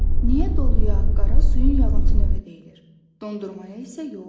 Niyə doluya, qara suyun yağıntı növü deyilmir, dondurmaya isə yox?